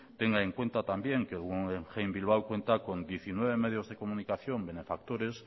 tenga en cuenta también que el guggenheim bilbao cuenta con diecinueve medios de comunicación benefactores